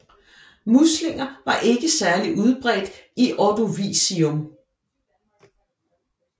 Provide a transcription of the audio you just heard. Muslinger var ikke særlig udbredt i Ordovicium